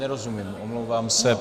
Nerozumím, omlouvám se.